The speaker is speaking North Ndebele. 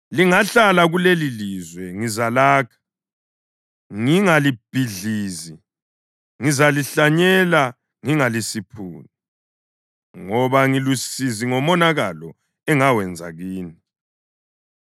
‘Lingahlala kulelilizwe ngizalakha, ngingalibhidlizi, ngizalihlanyela ngingalisiphuni, ngoba ngilusizi ngomonakalo engawenza kini.